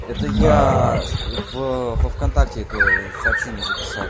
это я в в контакте это сообщение записал